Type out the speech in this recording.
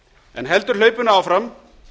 en heldur hlaupinu áfram